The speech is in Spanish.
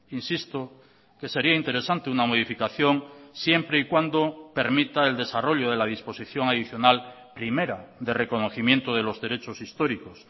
insisto que sería interesante una modificación siempre y cuando permita el desarrollo de la disposición adicional primera de reconocimiento de los derechos históricos